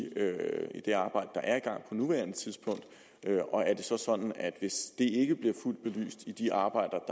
gang på nuværende tidspunkt og er det så sådan at hvis det ikke bliver fuldt belyst i de arbejder